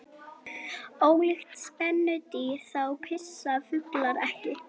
Ólíkt spendýrum þá pissa fuglar ekki.